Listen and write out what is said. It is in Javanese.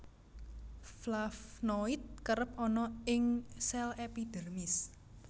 Flavnoid kerep ana ing sel epidermis